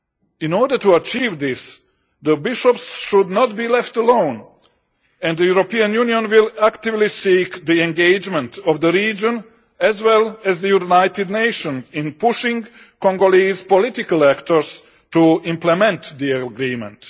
In order to achieve this, the bishops should not be left alone and the European Union will actively seek the engagement of the region, as well as the United Nations, in pushing Congolese political actors to implement the agreement.